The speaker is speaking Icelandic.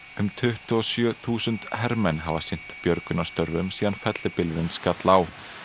um tuttugu og sjö þúsund hermenn hafa sinnt björgunarstörfum síðan fellibylurinn skall á